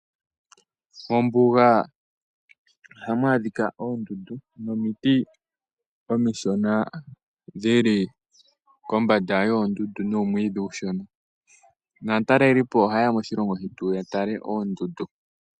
Mombunga ohamu adhika ondundu nomiti omishona dhili kombanda yondundu numwidhi ushona, natalelipo ohayeya moshilongo shetu yatale oondundu.